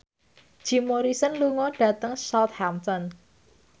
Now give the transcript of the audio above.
Jim Morrison lunga dhateng Southampton